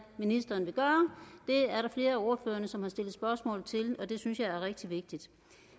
ministeren vil gøre det er der flere af ordførerne som har stillet spørgsmål til og det synes jeg er rigtig vigtigt